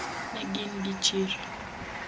ne gin gi chir